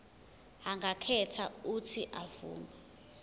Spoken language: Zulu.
angakhetha uuthi avume